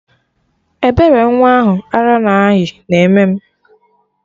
Ebere nwa ahụ arụ na ayị na eme m